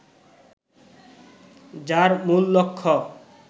যার মূল লক্ষ্য